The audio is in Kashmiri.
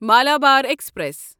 مالابار ایکسپریس